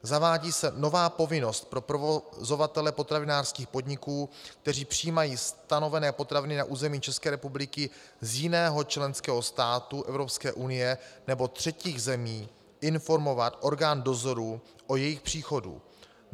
Zavádí se nová povinnost pro provozovatele potravinářských podniků, kteří přijímají stanovené potraviny na území České republiky z jiného členského státu Evropské unie nebo třetích zemí, informovat orgán dozoru o jejich příchodu.